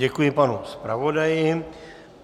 Děkuji panu zpravodaji.